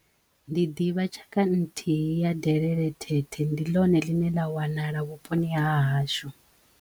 Ndi ḓivha tshaka nthihi ya delelethethe ndi ḽone ḽine ḽa wanala vhuponi ha hashu.